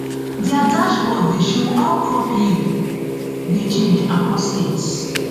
dia dashboard dey show how crop yield dey change across states